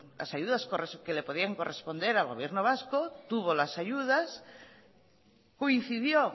las ayudas que les podía corresponder al gobierno vasco tuvo las ayudas coincidió